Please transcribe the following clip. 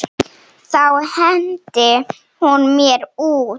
Þá henti hún mér út.